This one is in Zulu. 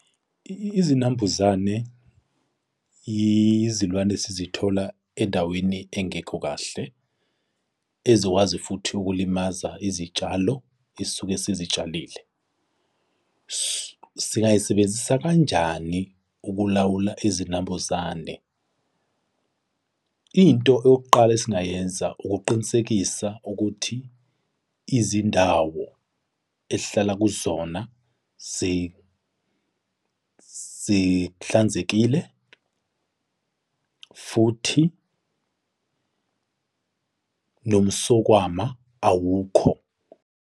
Izinambuzane izilwane esizithola endaweni engekho kahle, ezokwazi futhi ukulimaza izitshalo esuke sizitshalile. Singayisebenzisa kanjani ukulawula izinambuzane? Into yokuqala esingayenza ukuqinisekisa ukuthi izindawo esihlala kuzona zihlanzekile futhi nomsokwama awukho.